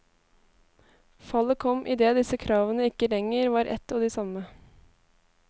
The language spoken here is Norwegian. Fallet kom idet disse kravene ikke lenger var ett og de samme.